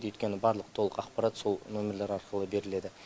өйткені барлық толық ақпарат сол нөмірлер арқылы беріледі